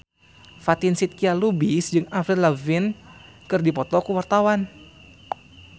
Fatin Shidqia Lubis jeung Avril Lavigne keur dipoto ku wartawan